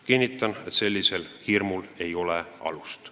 Kinnitan, et sellisel hirmul ei ole alust.